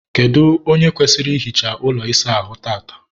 kedụ onye kwesịrị ihicha ụlọ ịsa ahụ tata?